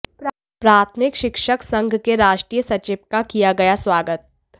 प्राथमिक शिक्षक संघ के राष्ट्रीय सचिव का किया गया स्वागत